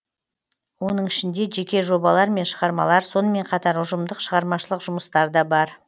оның ішінде жеке жобалар мен шығармалар сонымен қатар ұжымдық шығармашылық жұмыстар да бар